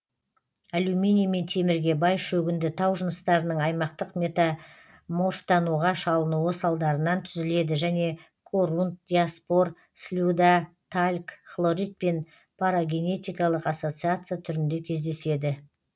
алюминий мен темірге бай шөгінді тау жыныстарының аймақтық метаморфтануға шалынуы салдарынан түзіледі және корунд диаспор слюда тальк хлоритпен парагенетикалық ассоциация түрінде кездеседі